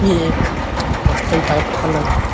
यह एक hostel type का लग रहा है।